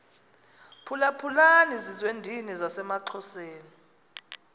phulaphulani zizwendini zasemaxhoseni